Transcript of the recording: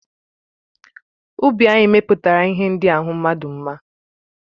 Ubi anyị mepụtara ihe ndị ahụ mmadụ mma.